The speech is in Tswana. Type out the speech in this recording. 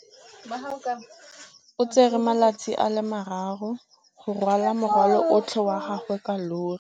O tsere malatsi a le marraro go rwala morwalo otlhe wa gagwe ka llori.